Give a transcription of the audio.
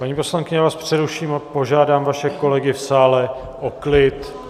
Paní poslankyně, já vás přeruším a požádám vaše kolegy v sále o klid.